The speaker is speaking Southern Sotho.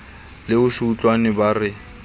le ho se utlwane bara